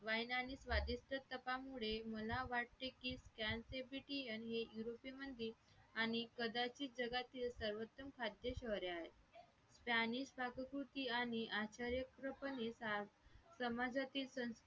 मुळे मला वाटते की scan say brity आणि युरोपी मधील आणि कदाचित जगातील सर्वोत्तम खाद्यश्वर आहे प्राणी पाककृती आणि आचार् आचार्य पणे समाजातील संस्कृती